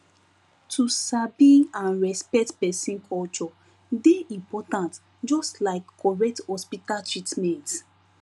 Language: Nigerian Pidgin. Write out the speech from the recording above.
to sabi and respect person culture dey important just like correct hospital treatment